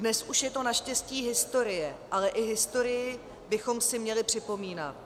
Dnes už je to naštěstí historie, ale i historii bychom si měli připomínat.